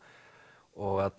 og